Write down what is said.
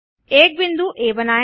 एक बिंदु आ बनाएँ